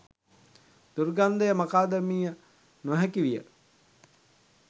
දුර්ගන්ධය මකාදැමිය නොහැකි විය